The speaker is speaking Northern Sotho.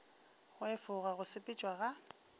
go efoga go sepetšwa ga